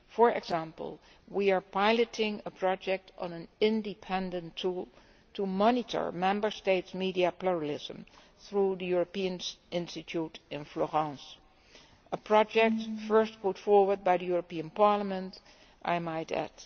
For example, we are piloting a project on an independent tool to monitor Member States' media pluralism via the European Institute in Florence a project first put forward by the European Parliament, I might add.